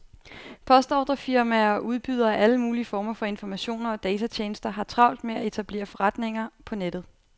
Postordrefirmaer og udbydere af alle mulige former for informationer og datatjenester har travlt med at etablere forretninger på nettet.